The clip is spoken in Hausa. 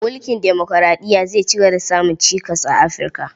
Mulkin demokuraɗiya zai cigaba da samun cikas a Afi, rka.